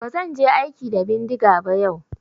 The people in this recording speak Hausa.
Ba zan je aiki da bindiga ba yau.